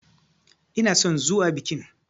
Ina son zuwa bikin.